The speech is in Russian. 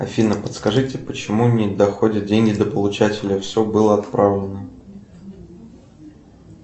афина подскажите почему не доходят деньги до получателя все было отправлено